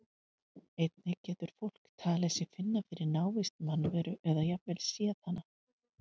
Einnig getur fólk talið sig finna fyrir návist mannveru eða jafnvel séð hana.